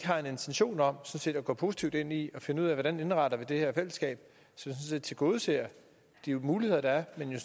har en intention om at gå positivt ind i at finde ud af hvordan vi indretter det her fællesskab så vi tilgodeser de muligheder der er men